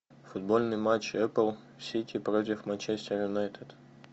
футбольный матч апл сити против манчестер юнайтед